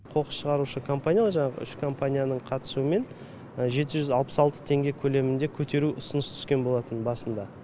қоқыс шығарушы компаниялар жаңағы үш компанияның қатысуымен жеті жүз алпыс алты теңге көлемінде көтеру ұсыныс түскен болатын басында